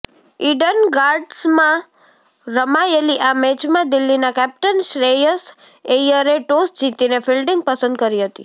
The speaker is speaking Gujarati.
ઈડન ગાર્ડન્સમાં રમાયેલી આ મેચમાં દિલ્હીના કેપ્ટન શ્રેયસ ઐયરે ટોસ જીતીને ફિલ્ડિંગ પસંદ કરી હતી